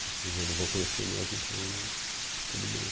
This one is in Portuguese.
Tipo, eu já não vou conhecer mesmo, então tudo bem.